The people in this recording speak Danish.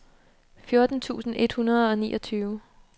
fjorten tusind et hundrede og niogtyve